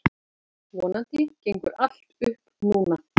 Vonandi gengur allt upp núna.